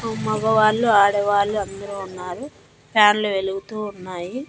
ఆ మగవాళ్ళు ఆడవాళ్ళు అందరూ ఉన్నారు ఫ్యాన్లు వెలుగుతూ ఉన్నాయి.